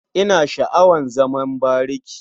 Ina sha'awar zaman bariki.